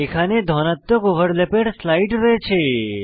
এখানে ধনাত্মক ওভারল্যাপের স্লাইড রয়েছে